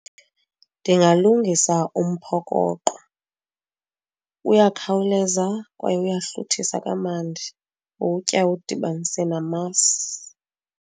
Ndingalungisa umphokoqo, uyakhawuleza kwaye uyahluthisa kamandi. Uwutya uwudibanise namasi.